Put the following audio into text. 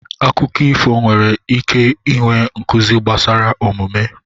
Akụkọ ifo nwere ike inwe nkuzi gbasara omume.